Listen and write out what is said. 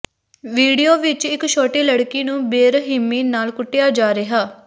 video ਵਿਚ ਇਕ ਛੋਟੀ ਲੜਕੀ ਨੂੰ ਬੇਰਹਿਮੀ ਨਾਲ ਕੁੱਟਿਆ ਜਾ ਰਿਹਾ